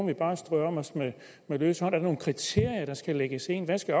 vi bare strør om os med løs hånd er der nogle kriterier der skal lægges ind hvad skal